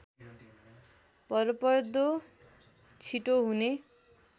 भरपर्दो छिटो हुने